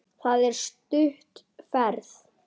Það er það stutt ferð.